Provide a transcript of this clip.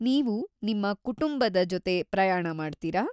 ನೀವು ನಿಮ್ಮ ಕುಟುಂಬದ ಜೊತೆ ಪ್ರಯಾಣ ಮಾಡ್ತೀರಾ?